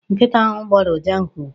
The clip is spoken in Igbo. Nkịta ahụ gboro ụja nke ukwuu.